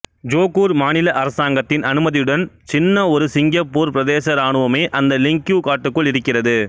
Johor மாநில அரசாங்கத்தின் அனுமதியுடன் சின்ன ஒரு சிங்கப்பூர் பிரதேச இராணுவமே அந்த லிங்கியூ காட்டுக்குள் இருக்கிறது